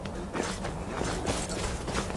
сбер а мне нравится мясо